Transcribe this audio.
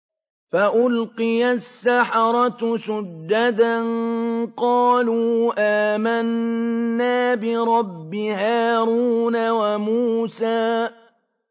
فَأُلْقِيَ السَّحَرَةُ سُجَّدًا قَالُوا آمَنَّا بِرَبِّ هَارُونَ وَمُوسَىٰ